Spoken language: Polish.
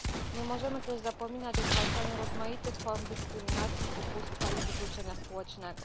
Nie możemy też zapominać o zwalczaniu rozmaitych form dyskryminacji, ubóstwa i wykluczenia społecznego.